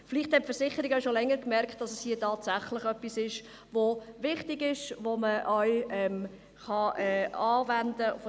Vielleicht haben die Versicherungen auch schon länger bemerkt, dass es sich hier tatsächlich um etwas Wichtiges handelt, um etwas, das man tatsächlich anwenden kann.